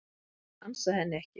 Ég ansa henni ekki.